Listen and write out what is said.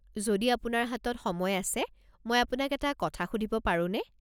যদি আপোনাৰ হাতত সময় আছে, মই আপোনাক এটা কথা সুধিব পাৰোনে?